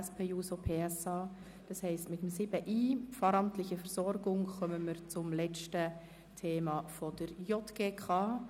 Mit 7.i Pfarramtliche Versorgung kommen wir somit zum letzten Themenblock betreffend die JGK.